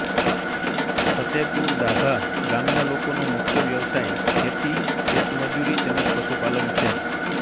ફતેપુર દાભા ગામના લોકોનો મુખ્ય વ્યવસાય ખેતી ખેતમજૂરી તેમ જ પશુપાલન છે